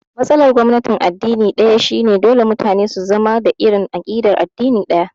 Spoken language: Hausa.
Matsalar gwamnatin addini ɗaya shi ne dole mutane su zama da irin aƙidar addini ɗaya